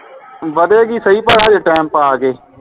ਵਧੇਗੀ ਸਹੀ ਪਰ ਹਜੇ ਟੈਮ ਪਾ ਕੇ